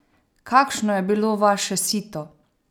Kakšno je bilo vaše sito?